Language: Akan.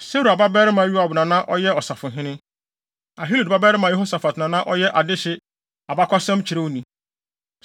Seruia babarima Yoab na na ɔyɛ ɔsafohene. Ahilud babarima Yehosafat na na ɔyɛ adehye abakɔsɛmkyerɛwni.